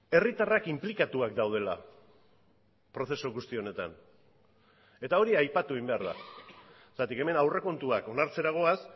herritarrak inplikatuak daudela prozesu guzti honetan eta hori aipatu egin behar da zergatik hemen aurrekontuak onartzera goaz